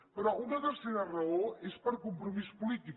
però una tercera raó és per compromís polític